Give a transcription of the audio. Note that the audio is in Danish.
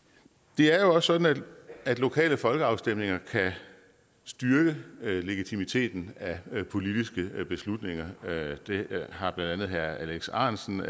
det er jo også sådan at lokale folkeafstemninger kan styrke legitimiteten af politiske beslutninger det har blandt andet herre alex ahrendtsen